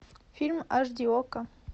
фильм аш ди окко